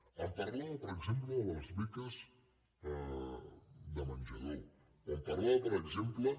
em parlava per exemple de les beques de menjador o em parlava per exemple